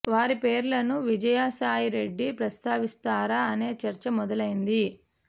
వారి పేర్లను విజయ సాయి రెడ్డి ప్రస్తావిస్తారా అనే చర్చ మొదలైంది